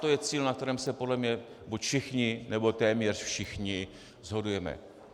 To je cíl, na kterém se podle mě buď všichni, nebo téměř všichni shodujeme.